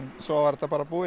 svo var þetta bara búið